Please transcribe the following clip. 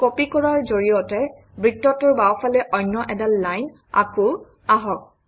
copy কৰাৰ জৰিয়তে বৃত্তটোৰ বাওঁফালে অন্য এডাল লাইন আকোঁ আহক